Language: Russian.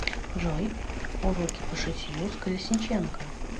джой уроки по шитью с колесниченко